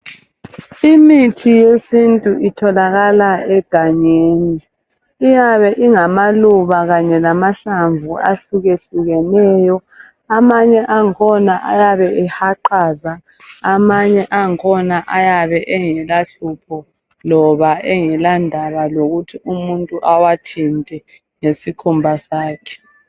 Imithi yesintu itholakala egangeni. Iyabe ingamaluba kanye lamahlamvu ahlukehlukeneyo. Amanye angkhona ayabe ehaqaza. Amanye angkhona ayabe engela hlupho loba engalandaba lokuthi umuntu awathinte ngesikhumba sakhe.